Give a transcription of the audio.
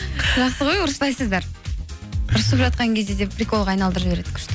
жақсы ғой ұрыспайсыздар ұрысып жатқан кезде де приколға айналдырып жібереді күшті